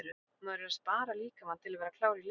Maður er að spara líkamann til að vera klár í leikinn.